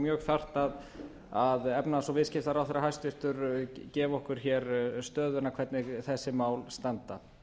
mjög þarft að efnahags og viðskiptaráðherra hæstvirtur gefi okkur hér stöðuna hvernig þessi mál standa